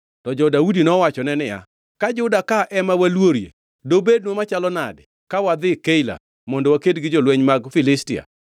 To jo-Daudi nowachone niya, “Ka Juda ka ema waluorie. Dobednwa machalo nade ka wadhi Keila mondo waked gi jolweny mag Filistia!”